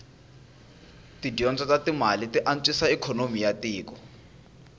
tidyondzo tatimale tianswisa ikonomi yatiko